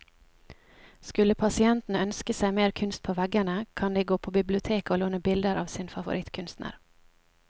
Skulle pasientene ønske seg mer kunst på veggene, kan de gå på biblioteket å låne bilder av sin favorittkunstner.